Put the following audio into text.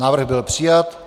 Návrh byl přijat.